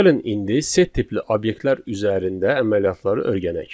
Gəlin indi set tipli obyektlər üzərində əməliyyatları öyrənək.